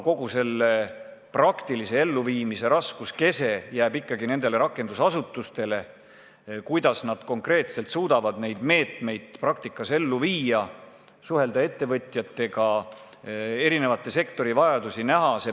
Selle praktilise elluviimise raskuskese aga jääb ikkagi rakendusasutustele, kuidas nad konkreetselt suudavad neid meetmeid praktikas ellu viia, suhelda ettevõtjatega, eri sektorite vajadusi näha.